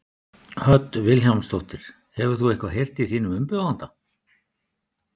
Hödd Vilhjálmsdóttir: Hefur þú eitthvað heyrt í þínum umbjóðanda?